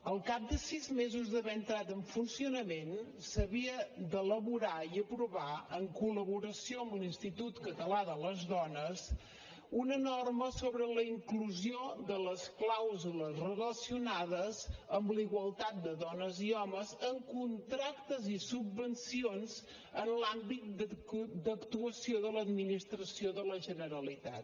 al cap de sis mesos d’haver entrat en funcionament s’havia d’elaborar i aprovar en col·laboració amb l’institut català de les dones una norma sobre la inclusió de les clàusules relacionades amb la igualtat de dones i homes en contractes i subvencions en l’àmbit d’actuació de l’administració de la generalitat